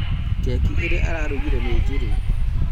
Keki ĩrĩa ararugire nĩ njuru